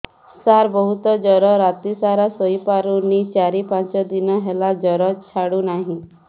ସାର ବହୁତ ଜର ରାତି ସାରା ଶୋଇପାରୁନି ଚାରି ପାଞ୍ଚ ଦିନ ହେଲା ଜର ଛାଡ଼ୁ ନାହିଁ